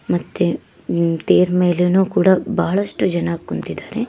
ಮತ್ತೆ ತೇರ್ ಮೇಲೇನು ಕೂಡ ಬಹಳಷ್ಟು ಜನ ಕುಂತಿದಾರೆ.